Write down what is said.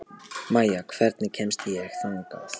Maya, hvernig kemst ég þangað?